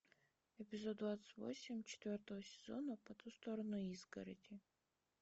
эпизод двадцать восемь четвертого сезона по ту сторону изгороди